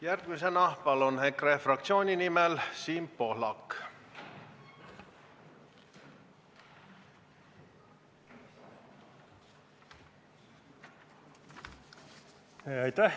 Järgmisena palun kõnetooli EKRE fraktsiooni nimel kõnelema Siim Pohlaku!